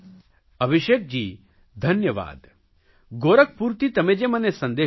અભિષેકજી ધન્યવાદ ગોરખપુરથી તમે જે મને સંદેશ આપ્યો